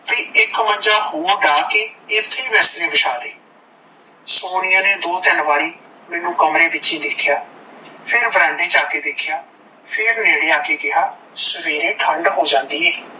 ਕੀ ਇੱਕ ਮੰਜਾ ਹੋਰ ਢਾਹ ਕੇ ਏਥੇ ਹੀ ਬਿਸਤਰੇ ਬਿਸ਼ਾ ਦੇ ਸੋਨੀਆ ਨੇ ਦੋ ਤੀਨ ਵਾਰੀ ਮੈਂਨੂੰ ਕਮਰੋ ਵਿੱਚੀ ਦੇਖਿਆ, ਫੇਰ ਬਰਾਂਡੇ ਚ ਆਕੇ ਦੇਖਿਆ, ਫੇਰ ਨੇੜੇ ਆਕੇ ਕਿਹਾ ਸਵੇਰੇ ਠੰਡ ਹੋ ਜਾਂਦੀ ਏ,